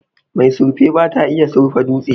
mai surfe bata iya surfa dutse